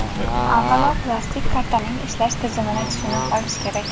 Avvalo, plastik kartaning ishlash tizimini tushunib olish kerak.